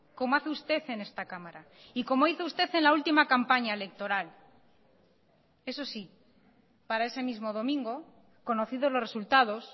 como hace usted en esta cámara y como hizo usted en la última campaña electoral eso sí para ese mismo domingo conocido los resultados